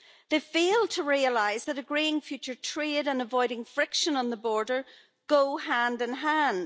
They fail to realise that agreeing future trade and avoiding friction on the border go hand in hand.